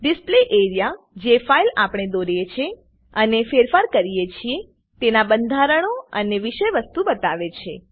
display A R E A જે file આપણે દોરીએ છે અને ફેરફાર કરીએ છીએ તેના બંધારણો અને વિષયવસ્તુ બતાવે છે